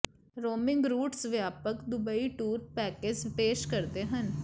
roaming routes ਵਿਆਪਕ Dubai tour package ਪੇਸ਼ ਕਰਦੇ ਹਨ